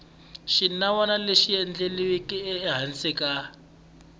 xinawana lexi endliweke ehansi ka